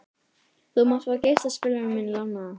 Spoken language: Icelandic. Þú mátt fá geislaspilarann minn lánaðan.